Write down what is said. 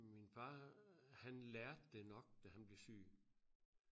min far han lærte det nok da han blev syg